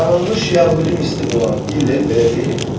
Tanınmış yəhudi mistik olan Hillel belə deyib: